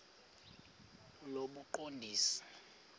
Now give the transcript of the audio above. lobuqondisi